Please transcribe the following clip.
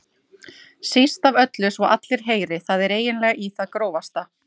Síst af öllu svo að allir heyri, það er eiginlega í það grófasta.